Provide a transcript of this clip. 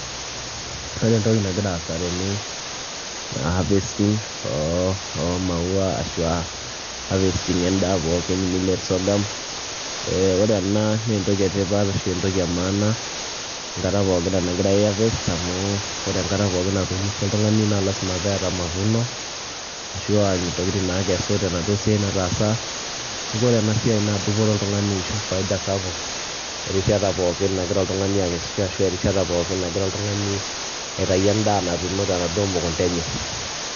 Ore entoki nagira aasa tene naa harvesting oo oo maua ashu a harvesting endaa pookin millet, sorghum. Ee ore ena nee entoki e tipat ashu entoki e maana enkata pookin nagirai aiharvest amu ore enkata pookin antuunishe oltung'ani naa lazima pee eeta mavuno ashu aa ntokitin naakesu tenaduo siai nataasa. Neeku ore ena siai naa dupoto oltung'ani ashu faida sapuk erishata pookin nagira oltung'ani akesisho ashu erishata pookin nagira oltung'ani aitayu endaa natuuno tenaduo mukunda enye.